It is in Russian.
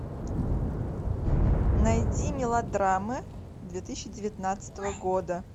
найди мелодрамы две тысячи девятнадцатого года